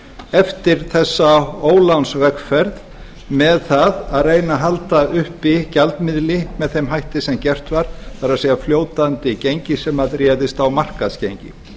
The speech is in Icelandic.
eftir þessa ólánsvegferð með það að reyna að halda uppi gjaldmiðli með þeim hætti sem gert var það er fljótandi gengi sem réðist á markaðsgengi